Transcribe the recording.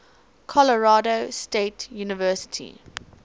colorado state university